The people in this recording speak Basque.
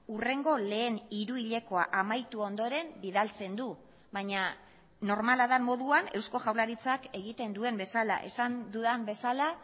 hurrengo lehen hiruhilekoa amaitu ondoren bidaltzen du baina normala den moduan eusko jaurlaritzak egiten duen bezala esan dudan bezala